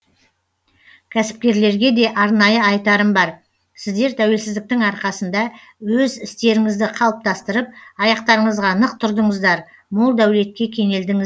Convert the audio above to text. кәсіпкерлерге де арнайы айтарым бар сіздер тәуелсіздіктің арқасында өз істеріңізді қалыптастырып аяқтарыңызға нық тұрдыңыздар мол дәулетке кенелдіңіз